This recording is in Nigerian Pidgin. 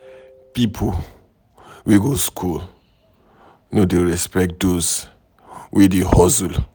Pipo wey go skool no dey respect those wey dey hustle.